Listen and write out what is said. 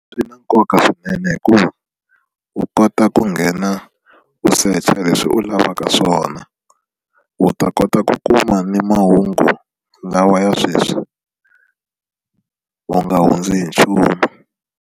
Swi na nkoka swinene hikuva u kota ku nghena u secha leswi u lavaka swona u ta kota ku kuma ni mahungu lawa ya sweswi u nga hundzi hi nchumu.